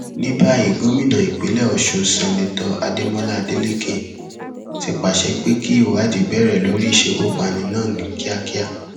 ní báyìí gómìnà ìpínlẹ ọsùn seneto adémọlá adeleke ti pàṣẹ pé kí ìwádìí bẹrẹ lórí ìṣekúpani náà ní kíákíá